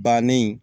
Bannen